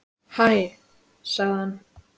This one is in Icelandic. Hæ sagði hann.